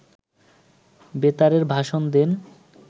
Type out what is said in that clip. বেতারে ভাষণ দেন